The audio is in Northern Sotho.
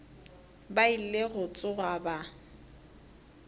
ba ile go tsoga ba